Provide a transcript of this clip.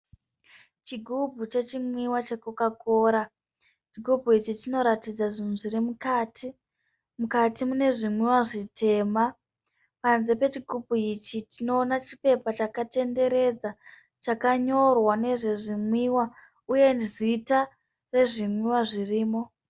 Chigubhu chenwiwa chekokakora. Chigumbu ichi chinoratidza zvinhu zvirimukati. Mukati munezvinwiwa zvitema. Panze pechigubhu ichi tinoona chipepa chakatenderedza. Chakanyorwa nezvezvinwiwa uye zita rezvinwiwa zvirimo.